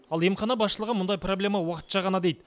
ал емхана басшылығы мұндай проблема уақытша ғана дейді